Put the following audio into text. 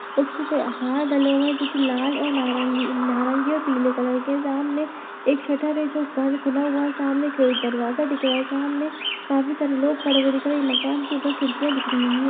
डाले हुए जो कि लाल और नारंगी नारंगी और पीले कलर के सामने एक शटर है जो बन खुला हुआ है सामने खी दरवाजा दिख रहा है सामने काफी सारे लोग खड़े हुए दिख रहे मकान के ऊपर खिड़कियाँ दिख रहीं हैं।